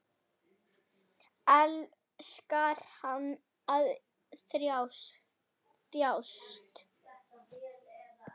Elskar hann að þjást?